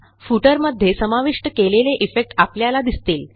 footer मध्ये समाविष्ट केलेले इफेक्ट आपल्याला दिसतील